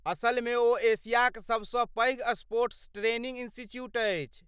असलमे ओ एशियाक सभ.सँ पैघ स्पोर्ट्स ट्रेनिंग इंस्टीट्यूट अछि।